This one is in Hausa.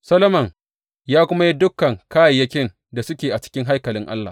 Solomon ya kuma yi dukan kayayyakin da suke a cikin haikalin Allah.